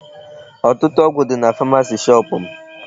Ọtụtụ ọgụ dị na pharmacy shop m.